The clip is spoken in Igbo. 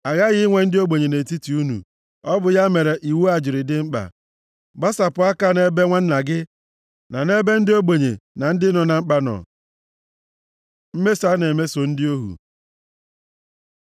A ghaghị inwe ndị ogbenye nʼetiti unu, ọ bụ ya mere iwu a jiri dị mkpa. Gbasapụ aka nʼebe nwanna gị na nʼebe ndị ogbenye na ndị nọ na mkpa nọ. Mmeso a na-emeso ndị ohu